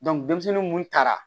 denmisɛnnin munnu taara